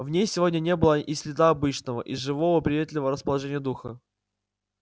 в ней сегодня не было и следа обычного живого и приветливого расположения духа